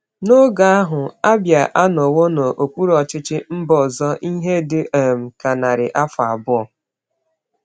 N’oge ahụ, Abia anọwo n’okpuru ọchịchị mba ọzọ ihe dị um ka narị afọ abụọ.